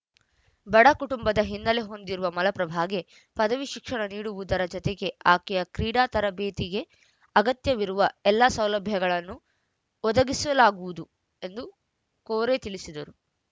ಬಡ ಕುಟುಂಬದ ಹಿನ್ನೆಲೆ ಹೊಂದಿರುವ ಮಲಪ್ರಭಾಗೆ ಪದವಿ ಶಿಕ್ಷಣ ನೀಡುವುದರ ಜತೆಗೆ ಆಕೆಯ ಕ್ರೀಡಾ ತರಬೇತಿಗೆ ಅಗತ್ಯವಿರುವ ಎಲ್ಲಾ ಸೌಲಭ್ಯಗಳನ್ನು ಒದಗಿಸಲಾಗುವುದು ಎಂದು ಕೋರೆ ತಿಳಿಸಿದರು